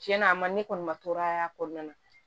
Tiɲɛna a ma ne kɔni ma tɔɔrɔ y'a kɔnɔna na